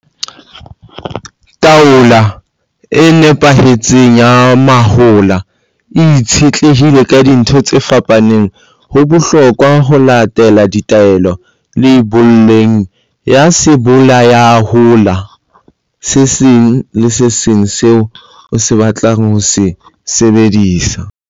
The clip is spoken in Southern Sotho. Taolo e nepahetseng ya mahola e itshetlehile ka dintho tse fapaneng. Ho bohlokwa ho latela ditaelo leiboleng ya sebolayalehola se seng le se seng seo o batlang ho se sebedisa.